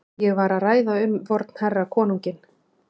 Ég var að ræða um vorn herra konunginn.